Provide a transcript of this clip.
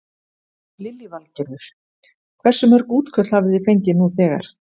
Lillý Valgerður: Hversu mörg útköll hafi þið fengið nú þegar?